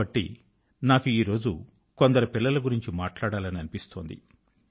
కాబట్టి నాకు ఈ రోజు కొందరు పిల్లల గురించి మాట్లాడాలని అనిపిస్తోంది